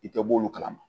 I tɛ bɔ olu kalama